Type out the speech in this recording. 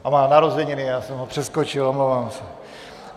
A má narozeniny, já jsem ho přeskočil, omlouvám se.